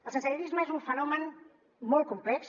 el sensellarisme és un fenomen molt complex